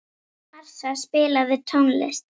Marsa, spilaðu tónlist.